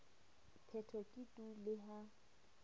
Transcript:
phetho ke tu le ha